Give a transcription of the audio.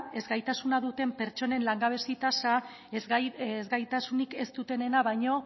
ezgaitasuna duten pertsonen langabezia tasa ezgaitasunik ez dutenena baino